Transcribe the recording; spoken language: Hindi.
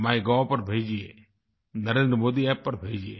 माइगोव पर भेजिए NarendraModiApp पर भेजिये